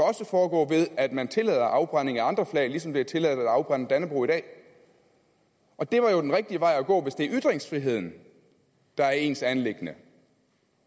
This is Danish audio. også foregå ved at man tillader afbrænding af andre flag ligesom det er tilladt at afbrænde dannebrog i dag og det er jo den rigtige vej at gå hvis det er ytringsfriheden der er ens anliggende